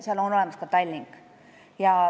Seal on esindatud ka Tallink.